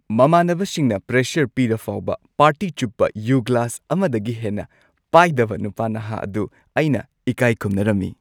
ꯃꯃꯥꯟꯅꯕꯁꯤꯡꯅ pressure ꯄꯤꯔꯐꯥꯎꯕ party ꯆꯨꯞꯄ ꯌꯨ ꯒ꯭ꯂꯥꯁ ꯑꯃꯗꯒꯤ ꯍꯦꯟꯅ ꯄꯥꯏꯗꯕ ꯅꯨꯄꯥ ꯅꯍꯥ ꯑꯗꯨ ꯑꯩꯅ ꯏꯀꯥꯢ ꯈꯨꯝꯅꯔꯝꯃꯤ꯫